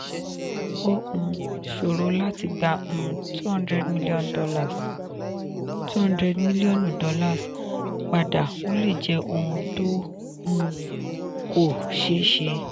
ó um ṣòro láti gbà um $ two hundred mílíọ̀nù padà ó lè jẹ́ ohun tó um kọ́ ṣeé ṣe.